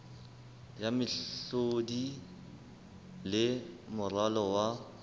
ya mehlodi le moralo wa